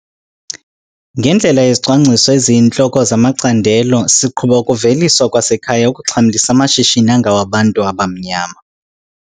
Ngendlela yezicwangciso eziyintloko zamacandelo siqhuba ukuveliswa kwasekhaya okuxhamlisa amashishini angawabantu abamnyama.